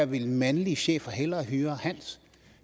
ville mandlige chefer hellere høre hans